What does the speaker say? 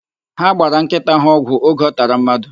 Ha gbara nkịta ha ọgwụ oge ọ tara mmadụ.